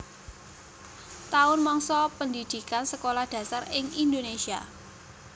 Taun mangsa pendhidhikan Sekolah Dasar ing Indonésia